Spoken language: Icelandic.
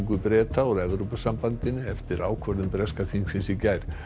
Breta úr Evrópusambandinu eftir ákvörðun breska þingsins í gær